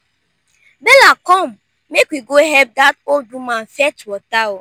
bella come make we go help dat old woman fetch water